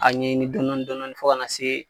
A ɲɛɲini dɔɔni dɔɔni fo ka na se